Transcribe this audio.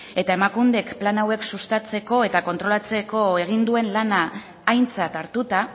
eta emakundek plan hauek sustatzeko eta kontrolatzeko egin duen lana aintzat hartuta